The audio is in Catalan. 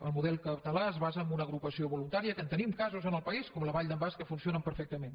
el model català es basa en una agrupació voluntària que en tenim casos en el país com la vall d’en bas que funcionen perfectament